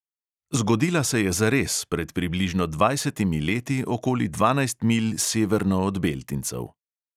Zgodila se je zares pred približno dvajsetimi leti okoli dvanajst milj severno od beltincev.